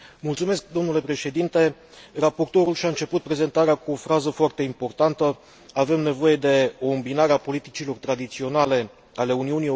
Raportorul și a început prezentarea cu o frază foarte importantă, avem nevoie de o îmbinare a politicilor tradiționale ale Uniunii Europene cu noile noastre priorități.